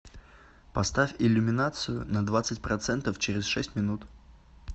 поставь иллюминацию на двадцать процентов через шесть минут